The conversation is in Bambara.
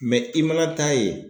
i mana taa yen